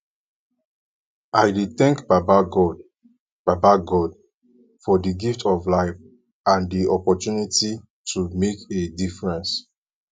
i dey thank baba god baba god for di gift of life and di opportunity to make a difference